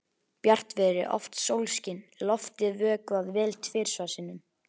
Bjartviðri, oft sólskin, loftið vökvað vel tvisvar sinnum.